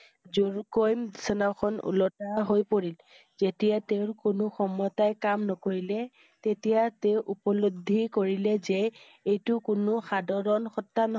জোৰকৈ বিচনাখিন ওলোটা হৈ পৰিল। তেতিয়া তেওঁৰ কোনো ক্ষমতাই কাম নকৰিলে তেতিয়া তেওঁ উপলব্ধি কৰিলে যে এইটো কোনো সাধাৰণ সত্তা